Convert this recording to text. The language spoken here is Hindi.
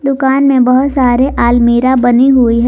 दुकान में बहुत सारे अलमीरा बनी हुई है।